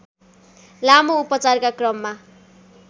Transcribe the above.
लामो उपचारका क्रममा